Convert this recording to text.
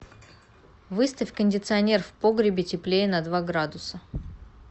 выставь кондиционер в погребе теплее на два градуса